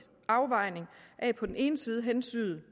afvejning af på den ene side hensynet